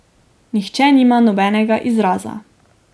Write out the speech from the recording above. Nihče nima nobenega izraza.